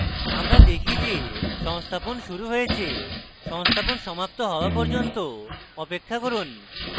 আমরা দেখি যে সংস্থাপন শুরু হয়েছে সংস্থাপন সমাপ্ত হওয়া পর্যন্ত অপেক্ষা করুন